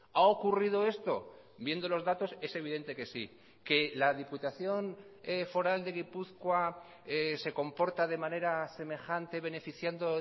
ha ocurrido esto viendo los datos es evidente que sí que la diputación foral de gipuzkoa se comporta de manera semejante beneficiando